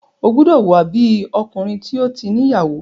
O gbódò hùwa bí Ọkùnrin tí o tí ní ìyàwó!